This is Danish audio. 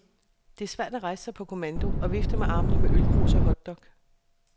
Det er svært at rejse sig på kommando og vifte med armene med ølkrus og hotdog.